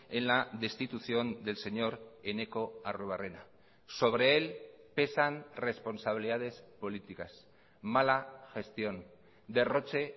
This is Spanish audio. en la destitución del señor eneko arruebarrena sobre él pesan responsabilidades políticas mala gestión derroche